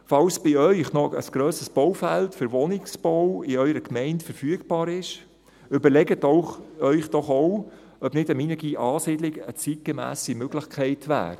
Falls in Ihrer Gemeinde noch ein grösseres Baufeld für Wohnungsbau verfügbar ist, überlegen Sie sich doch auch, ob auch eine Minergie-ASiedlung eine zeitgemässe Möglichkeit wäre.